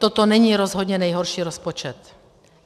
Toto není rozhodně nejhorší rozpočet.